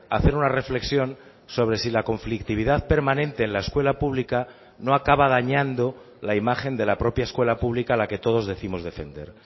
hacer una reflexión sobre si la conflictividad permanente en la escuela pública no acaba dañando la imagen de la propia escuela pública a la que todos décimos defender